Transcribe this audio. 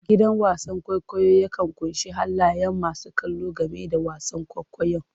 Gidan wasan kwaikwayo yakan ƙunshi halayen masu kallo game da wasan kwaikwayon.